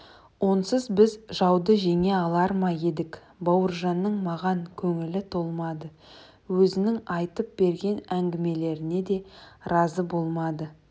онсыз біз жауды жеңе алар ма едік бауыржанның маған көңілі толмады өзінің айтып берген әңгімелеріне де разы болмады